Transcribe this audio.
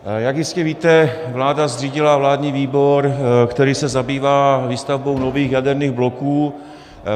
Jak jistě víte, vláda zřídila vládní výbor, který se zabývá výstavbou nových jaderných bloků.